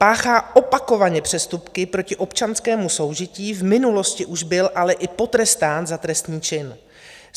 Páchá opakovaně přestupky proti občanskému soužití, v minulosti už byl ale i potrestán za trestný čin.